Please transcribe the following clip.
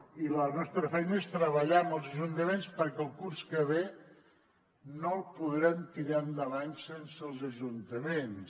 i la nostra feina és treballar amb els ajuntaments perquè el curs que ve no el podrem tirar endavant sense els ajuntaments